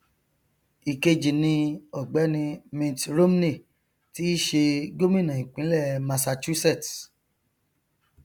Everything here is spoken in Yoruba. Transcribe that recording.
ìkejì ni ọgbẹni mitt romney tí í ṣe gómìnà ìpínlẹ massachusetts